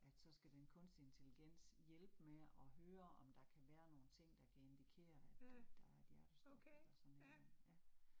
At så skal den kunstige intelligens hjælpe med at høre, om der kan være nogle ting, der kan indikere, at øh der er et hjertestop eller sådan et eller andet, ja